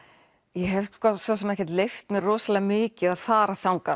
ég hef svo sem ekki leyft mér rosalega mikið að fara þangað